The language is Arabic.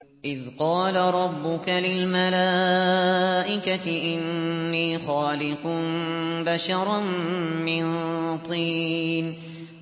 إِذْ قَالَ رَبُّكَ لِلْمَلَائِكَةِ إِنِّي خَالِقٌ بَشَرًا مِّن طِينٍ